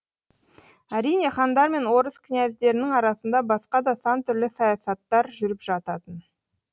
әрине хандар мен орыс князьдерінің арасында басқа да сан түрлі саясаттар жүріп жататын